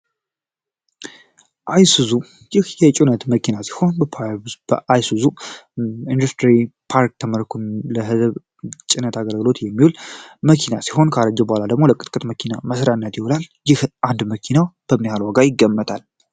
አይሱዙ ይህ የጭነት መኪና ሲሆን በአይሱዙ ኢንደስትሪ ፓርክ ተመርቶ ለጭነት አገልግሎት የሚውል ሲሆን ካረጀ በኋላ ደግሞ ለቅጥቅጥ መኪና መሰሪያነት ይውላል። ይህ አንዱ መኪናው በምን ያህል ዋጋ ይገመታል?